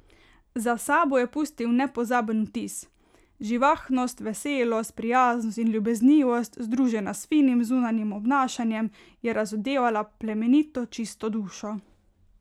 Za sabo je pustil nepozaben vtis: 'Živahnost, veselost, prijaznost in ljubeznivost, združena s finim zunanjim obnašanjem, je razodevala plemenito, čisto dušo.